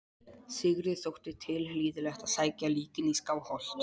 Sigurði þótti tilhlýðilegt að sækja líkin í Skálholt.